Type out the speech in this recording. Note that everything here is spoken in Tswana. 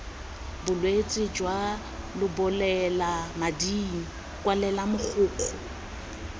bolwetse jwa lebolelamading kwalela mogokgo